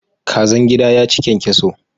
Kazan gida ya ci kyankyaso.